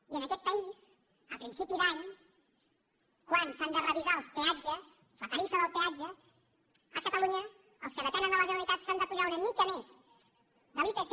i en aquest país a principi d’any quan s’han de revisar els peatges la tarifa del peatge a catalunya els que depenen de la generalitat s’han d’apujar una mica més de l’ipc